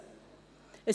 Sie haben sie.